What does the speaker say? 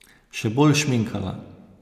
Še bolj šminkala.